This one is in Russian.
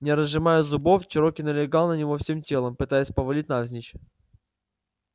не разжимая зубов чероки налегал на него всем телом пытаясь повалить навзничь